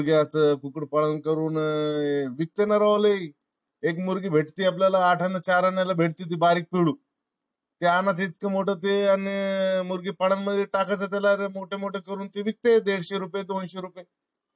Cooked पालन करून अह विकतना राव लई. एक मुर्गी भेठति आपल्याला आठना चाऱ्यानाला भेटती ती बारीक पिल्लू ते आणा कितीक मोठ ते आणि ते मुर्गी पालन मधी टाकायचं त्याला ते मोठे मोठे करून ते विकत येते. दीडशे रुपये दोनशे रुपये